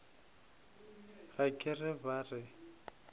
ga ke re ba re